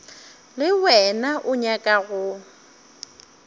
le wena o nyaka go